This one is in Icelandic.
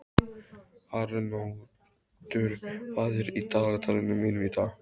Arnoddur, hvað er í dagatalinu mínu í dag?